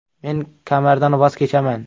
Men kamardan voz kechaman.